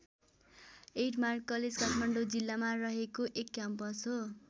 Admark college Kathmandu जिल्लामा रहेको एक क्याम्पस हो।